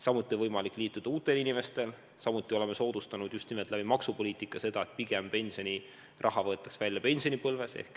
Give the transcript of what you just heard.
Samuti on võimalik liituda uutel inimestel, samuti oleme soodustanud just nimelt maksupoliitika abil seda, et pigem võetaks pensioniraha välja pensionipõlves.